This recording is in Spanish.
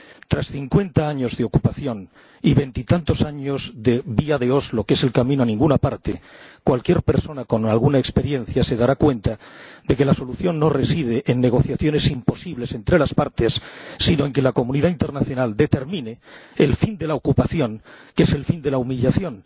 Tras cincuenta años de ocupación y veintitantos años de vía de Oslo, que es el camino a ninguna parte, cualquier persona con alguna experiencia se dará cuenta de que la solución no reside en negociaciones imposibles entre las partes, sino en que la comunidad internacional determine el fin de la ocupación, que es el fin de la humillación.